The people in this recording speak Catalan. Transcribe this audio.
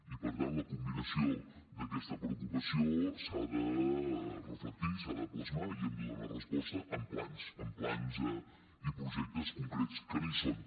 i per tant la combinació d’aquesta preocupació s’ha de reflectir s’ha de plasmar i hi hem de donar resposta amb plans amb plans i projectes concrets que no hi són